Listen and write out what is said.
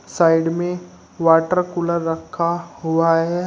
Side में water cooler रखा हुआ है।